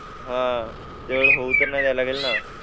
ह तेवढं होऊ तर नाही द्या लागेल न